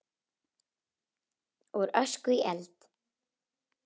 Úr ösku í eld?